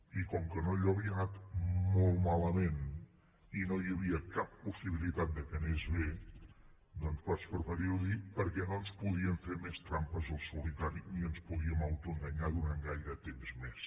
i com que allò havia anat molt malament i no hi havia cap possibilitat que anés bé doncs vaig preferir ho dir perquè no ens podíem fer més trampes al solitari ni ens podíem autoenganyar durant gaire temps més